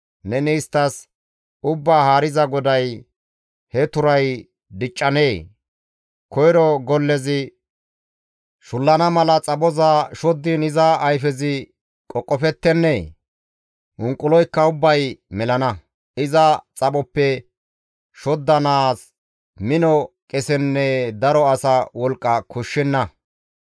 «Neni isttas, ‹Ubbaa Haariza GODAY: he turay diccanee? Koyro gollezi shullana mala xaphoza shoddiin iza ayfezi qoqofettenee? Unquloykka ubbay melana; iza xaphoppe shoddanaas mino qesenne daro asa wolqqa koshshenna.